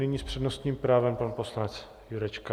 Nyní s přednostním právem pan poslanec Jurečka.